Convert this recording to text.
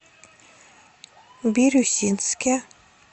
бирюсинске